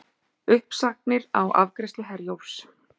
Uppsagnir á afgreiðslu Herjólfs